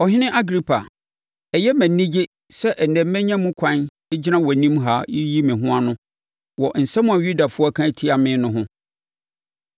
“Ɔhene Agripa! Ɛyɛ me anigye sɛ ɛnnɛ manya mu kwan gyina wʼanim ha reyi me ho ano wɔ asɛm a Yudafoɔ aka atia me no ho.